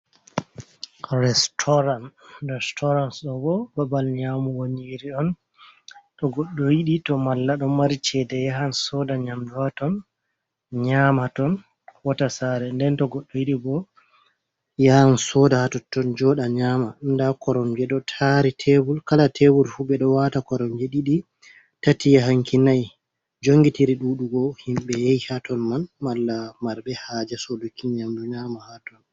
Restoran ,restoran ɗo bo babal nyamugo nyiiri on to goɗɗo yiɗi. To malla ɗo mari ceede yahan sooda nyamdu haa ton nyamaton warta saare. Nden to goɗɗo yiɗi bo yahan sooda hatotton joɗa nyaama .Ndaa koromje ɗo taari tebul, kala tebul fu ɓe ɗo waata koromje ɗiɗi ,tati yahanki nay jongitiri ɗuɗugo himɓe yehi haton man. Malla marɓe haaje sooduki nyamdu nyaama haton.